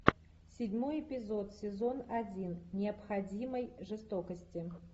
седьмой эпизод сезон один необходимой жестокости